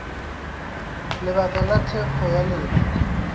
lebaka la thekgo ya lena